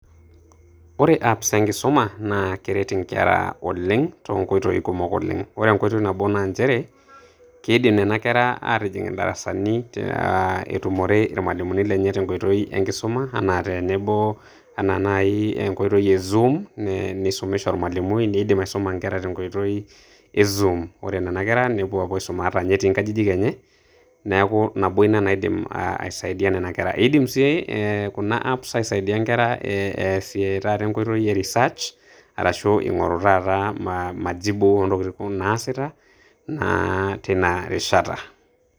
Ore apps enkisuma naa eret inkera oleng' tonkoitoii kumok oleng'. Ore enkotoi nabo na njere, kiidim nena kera aatijing' idarasani ah etumore ilmalimuni lenye tenkoitoi enkisuma enaa tenebo ena nai enkoitoi e zoom neisumisho ormalimui. Iidim aisuma nkera tenkoitoi e zoom. Ore nena kera nepuo apuo aisuma ata nye etii nkajijik enye neeku nabo ena naidim aisaidia nena kera. Eidim sii kuna apps aisaidia kera eimu sii enkoitoi e Research arashu eing'oru taata majibu oo ntokitin naasita naa teina rishata.